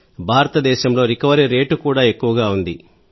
భారతదేశంలో recovery rate కూడా ఎక్కువగా ఉంది